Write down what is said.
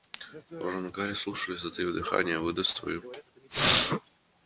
рон и гарри слушали затаив дыхание выдаст свою